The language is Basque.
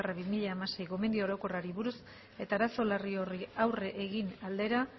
bat barra bi mila hamasei gomendio orokorrari buruz eta arazo larri horri aurre egite aldera